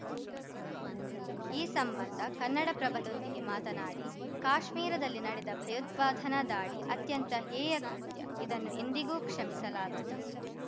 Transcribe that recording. ಈ ಸಂಬಂಧ ಕನ್ನಡಪ್ರಭದೊಂದಿಗೆ ಮಾತನಾಡಿ ಕಾಶ್ಮೀರದಲ್ಲಿ ನಡೆದ ಭಯೋತ್ಪಾದನಾ ದಾಳಿ ಅತ್ಯಂತ ಹೇಯ ಕೃತ್ಯ ಇದನ್ನು ಎಂದಿಗೂ ಕ್ಷಮಿಸಲಾಗದು